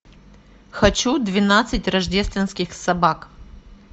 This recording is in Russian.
хочу двенадцать рождественских собак